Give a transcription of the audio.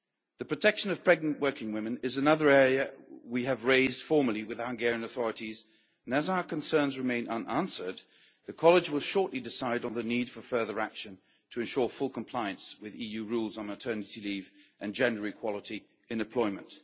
The protection of pregnant working women is another area we have raised formally with the Hungarian authorities and as our concerns remain unanswered the college will shortly decide on the need for further action to ensure full compliance with EU rules on maternity leave and gender equality in employment.